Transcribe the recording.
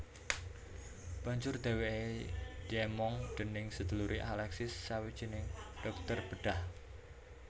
Banjur dheweke diemong déning sedulure Alexis sawijining dhokter bedhah